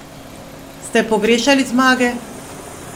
Ste pogrešali zmage?